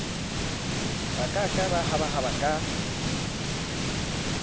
ba ka ka hahaba ka